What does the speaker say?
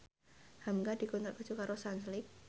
hamka dikontrak kerja karo Sunsilk